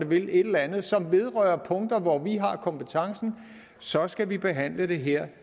vil et eller andet som vedrører punkter hvor vi har kompetencen så skal vi behandle det her